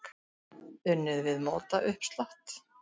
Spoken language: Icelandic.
Unnið við mótauppslátt.